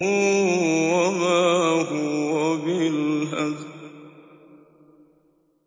وَمَا هُوَ بِالْهَزْلِ